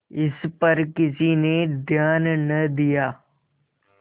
इस पर किसी ने ध्यान न दिया